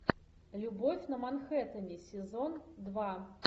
любовь на манхэттене сезон два